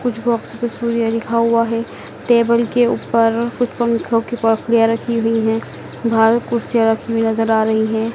कुछ बॉक्स पे सूर्य लिखा हुआ है टेबल के ऊपर कुछ पंखों की परखुड़िया रखी हुई है बाहर कुर्सिया हुई नजर आ रही है।